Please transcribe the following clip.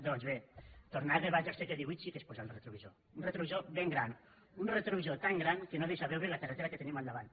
doncs bé tornar a debats del segle xviii sí que és posar el retrovisor un retrovisor ben gran un retrovisor tan gran que no deixa veure la carretera que tenim al davant